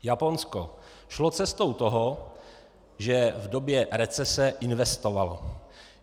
Japonsko šlo cestou toho, že v době recese investovalo.